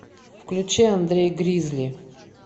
включи андрей гризли